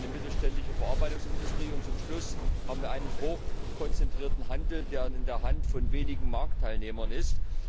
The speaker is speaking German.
Dann haben wir eine mittelständige Verarbeitungsindustrie, und zum Schluss haben wir einen hochkonzentrierten Handel, der in der Hand von wenigen Marktteilnehmern ist.